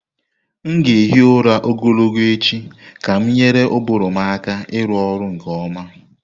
M ga-ehi ụra ogologo echi ka m nyere ụbụrụ m aka ịrụ ọrụ nke ọma.